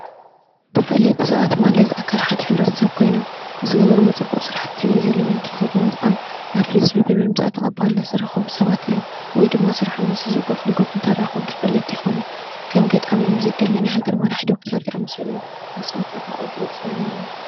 ተፈለጥቲ ሰባት ማለት ኣካል ሓደ ሕብረተሰብ ኮይኖም ንዝገበርዎ ፅቡቕ ስራሕቲ ወይ ዘለዎም ተዉህቦ ብምጥቃም ናብ ህዝቢ ብምምፃእ ተቐባልነት ዝረኸቡ ሰባት እዮም ወይ ድማ ስርሖም ምስ ህዝቢ ጎፍ ንጎፍ እንተራኽቡ ተፈለጥቲ ይኾኑ ከም ገጣሚ፣ ሙዚቀኛ ፣ናይ ሃገር መራሒ፣ ዶክተር ዝኣመሰሉ እዮም ።ንስኹም ተድንቕዎ ፍሉጥ ሰብ መን እዩ?